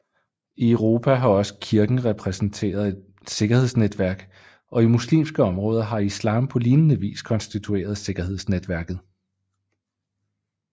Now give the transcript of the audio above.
I Europa har også Kirken repræsenteret et sikkerhedsnetværk og i muslimske områder har Islam på lignende vis konstitueret sikkerhedsnetværket